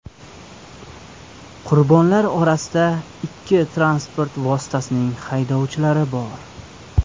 Qurbonlar orasida ikki transport vositasining haydovchilari bor.